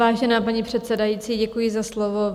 Vážená paní předsedající, děkuji za slovo.